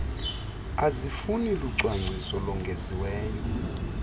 azifuni lucwangciso longeziweyo